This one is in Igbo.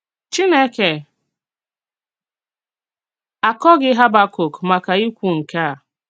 Chínèkè àkọ̀ghì Hábàkọ̀k màkà íkwù nke a.